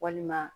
Walima